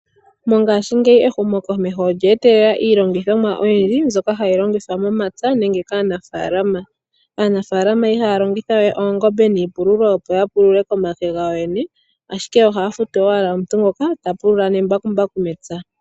Mongashiingeyi ehumokomeho olya etelela iilongithomwa oyindji mbyoka hayi longithwa momapya nenge kaanafaalama. Aanafaalama ihaya longitha we oongombe niipululo opo ya pulule komake gawo yene, ashike ohaya futu owala omuntu ngoka ta pulula nembakumbaku mepya.